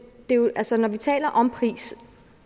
altså når vi taler om pris